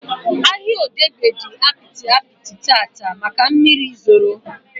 Ahịa Odegba dị apịtị apịtị taata maka mmiri zoro